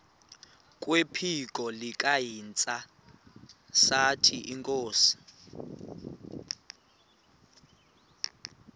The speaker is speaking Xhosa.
kwephiko likahintsathi inkosi